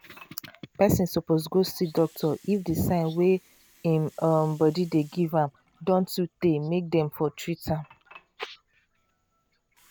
person suppose go see doctor if the sign wey im um body dey give am don um tey make dem for treat am